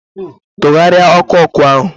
Tụgharịa ọkụ ọkụ ahụ!